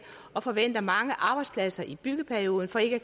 og forventer mange arbejdspladser i byggeperioden for ikke at